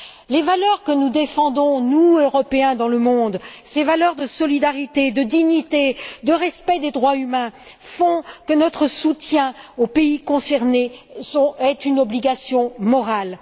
Les valeurs que nous défendons, nous Européens, dans le monde, ces valeurs de solidarité, de dignité, de respect des droits humains, font que notre soutien aux pays concernés est une obligation morale.